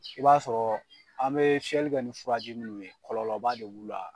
i b'a sɔrɔɔ an bee fiyɛli kɛ ni furaji minnu ye kɔlɔba de b'u la.